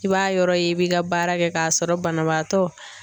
I b'a yɔrɔ ye i b'i ka baara kɛ k'a sɔrɔ banabaatɔ